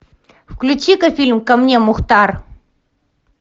включи ка фильм ко мне мухтар